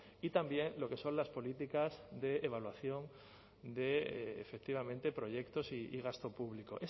y también lo que son las políticas de evaluación de efectivamente proyectos y gasto público